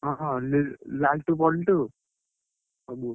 ହଁ ଲ ଲାଲଟୁ ବଂଟୁ, ସବୁ।